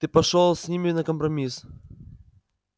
ты пошёл с ними на компромисс